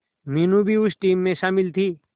मीनू भी उस टीम में शामिल थी